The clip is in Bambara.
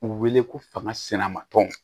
U wele ko fanga sina ma tɔn